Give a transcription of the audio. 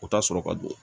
U ka sɔrɔ ka don